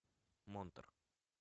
монтер